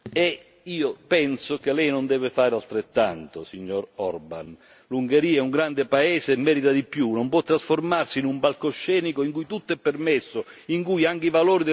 L'Ungheria è un grande paese e merita di più, non può trasformarsi in un palcoscenico in cui tutto è permesso, in cui anche i valori del nostro vivere insieme diventano giochi per rischiare qualche voto.